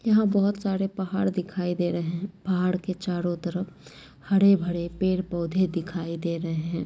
यहां बहुत सारे पहाड़ दिखाई दे रहे है पहाड़ के चारो तरफ हरे-भरे पेड़-पौधे दिखाई दे रहे हैं।